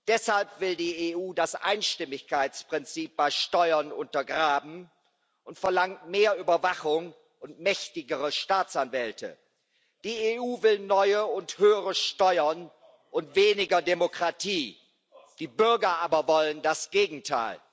Deshalb will die EU das Einstimmigkeitsprinzip bei Steuern untergraben und verlangt mehr Überwachung und mächtigere Staatsanwälte. Die EU will neue und höhere Steuern und weniger Demokratie, die Bürger aber wollen das Gegenteil.